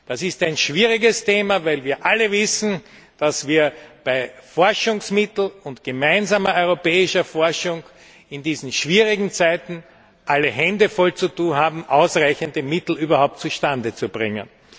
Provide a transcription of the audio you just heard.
ist. Das ist ein schwieriges Thema, weil wir alle wissen, dass wir bei Forschungsmitteln und gemeinsamer europäischer Forschung in diesen schwierigen Zeiten alle Hände voll zu tun haben, ausreichende Mittel überhaupt zustande zu bringen.